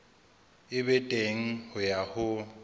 e be teng ya ho